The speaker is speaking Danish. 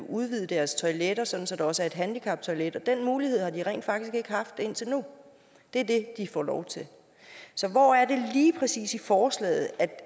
udvide deres toiletter sådan at der også er et handicaptoilet og den mulighed har de rent faktisk ikke haft indtil nu og det er det de får lov til så hvor er det lige præcis i forslaget at